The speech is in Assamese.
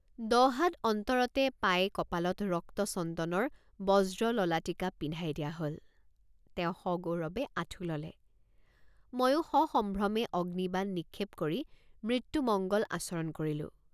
দহ হাত অন্তৰতে পাই কপালত ৰক্তচন্দনৰ বজ্ৰললাটিকা পিন্ধাই দিয়া হল তেওঁ সগৌৰৱে আঠু ললে ময়ে৷ সসম্ভ্ৰমে অগ্নিবাণ নিক্ষেপ কৰি মৃত্যুমঙ্গ'ল আচৰণ কৰিলোঁ।